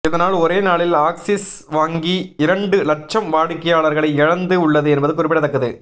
இதனால் ஒரே நாளில் ஆக்சிஸ் வங்கி இரண்டு லட்சம் வாடிக்கையாளர்களை இழந்து உள்ளது என்பது குறிப்பிடத்தக்கது